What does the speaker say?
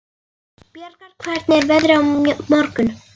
Bjargar, hvernig er veðrið á morgun?